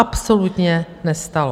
Absolutně nestalo!